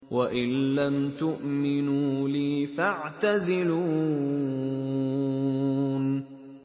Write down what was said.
وَإِن لَّمْ تُؤْمِنُوا لِي فَاعْتَزِلُونِ